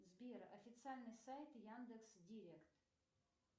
сбер официальный сайт яндекс директ